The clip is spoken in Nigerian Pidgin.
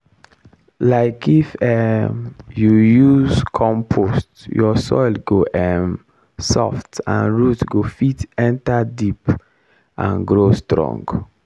um if um you use compost your soil go um soft and root go fit enter deep and grow strong.